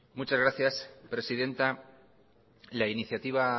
muchas gracias presidenta la iniciativa